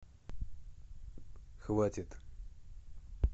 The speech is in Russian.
хватит